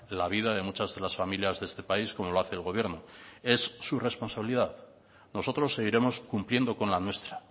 la vida de muchas de las familias de este país como lo hace el gobierno es su responsabilidad nosotros seguiremos cumpliendo con la nuestra